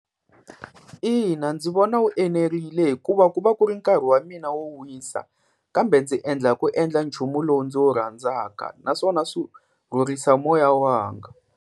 Ina ndzi vona wu enerile hikuva ku va ku ri nkarhi wa mina wo wisa, kambe ndzi endla hi ku endla nchumu lowu ndzi wu rhandzaka naswona swi rhurhisa moya wanga.